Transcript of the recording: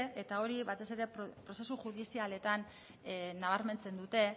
eta hori batez ere prozesu judizialetan nabarmentzen dute